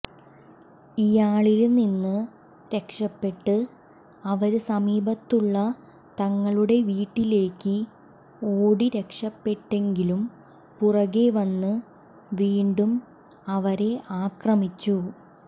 ഇയാളില് നിന്ന് രക്ഷപ്പെട്ട് അവര് സമീപത്തുള്ള തങ്ങളുടെ വീട്ടിലേക്ക് ഓടിരക്ഷപ്പെട്ടെങ്കിലും പുറകേ വന്ന് വീണ്ടും അവരെ ആക്രമിച്ചു